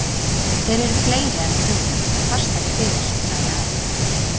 Þeir eru fleiri en við hugðum og fastari fyrir, sagði Ari.